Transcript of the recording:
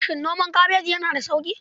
Shin noman kabeji yana da sauƙi?